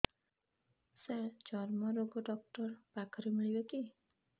ସାର ଚର୍ମରୋଗ ଡକ୍ଟର ପାଖରେ ମିଳିବେ କି